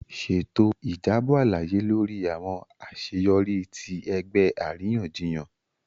Ṣeto ijabọ alaye lori awọn aṣeyọri ti ẹgbẹ ariyanjiyan.